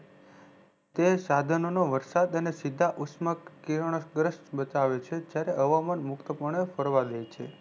તે સઘનોનો વરસાદ અને સીઘા ઉસ્મક કિરણો સુરત્વ બતાવે છે જાયરેહવામાન મુક્ત પણે ફરવા દે છે